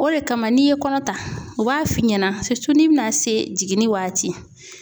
O de kama n'i ye kɔnɔ ta u b'a f'i ɲɛna ni bɛna se jiginni waati ma